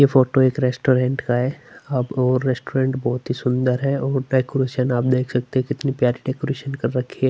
ये फोटो एक रेस्टोरेंट का है और ये रेस्टोरेंट बहुत ही सुंदर है और आप देख सकते है कितनी प्यारी डेकोरेशन कर रखी है।